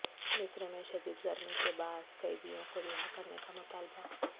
مصر میں شدید گرمی کے باعث قیدیوں کو رہا کرنے کا مطالبہ